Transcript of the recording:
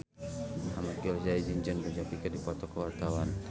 Ahmad Al-Ghazali jeung Jon Bon Jovi keur dipoto ku wartawan